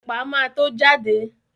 Ẹ̀pà ma tó jáde